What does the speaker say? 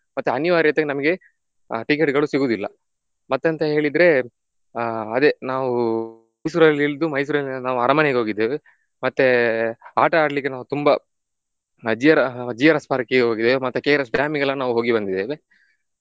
ಮತ್ತೆ ಅನಿವಾರ್ಯತೆಗೆ ನಮ್ಗೆ ಆ ticket ಗಳು ಸಿಗುದಿಲ್ಲ. ಮತ್ತೆಂತ ಹೇಳಿದ್ರೆ ಆಹ್ ಅದೇ ನಾವು ಮೈಸೂರಲ್ಲಿ ಇಳ್ದು ಮೈಸೂರಿಂದ ನಾವು ಅರಮನೆಗೆ ಹೋಗಿದ್ದೇವೆ ಮತ್ತೆ ಆಟ ಆಡಲಿಕ್ಕೆ ನಾವು ತುಂಬ GR~ GRS park ಗೆ ಹೋಗಿದ್ದೇವೆ ಮತ್ತೆ KRS dam ಗೆ ಎಲ್ಲ ನಾವು ಹೋಗಿ ಬಂದಿದ್ದೇವೆ.